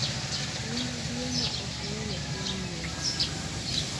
Nyadielma ok ng'eny e piny US